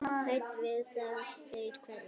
Hrædd við að þær hverfi.